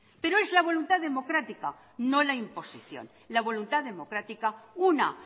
pero es la voluntad democrática no la imposición la voluntad democrática una